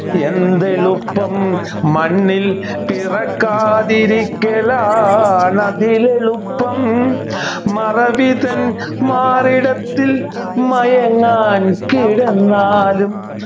എന്തെളുപ്പം മണ്ണിൽ പിറക്കാതിരിക്കാലാണതിലെളുപ്പം മറവിതൻ മാറിടത്തിൽ മയങ്ങാൻ കിടന്നാലും